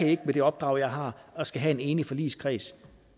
det med det opdrag jeg har jeg skal have en enig forligskreds